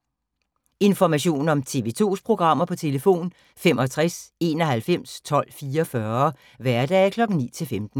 Information om TV 2's programmer: 65 91 12 44, hverdage 9-15.